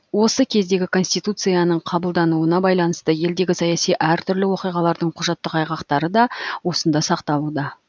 осы кездегі конституцияның қабылдануына байланысты елдегі саяси әртүрлі оқиғалардың құжаттық айғақтары да осында сақталуда